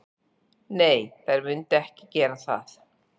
Nei, þær munu ekki gera það.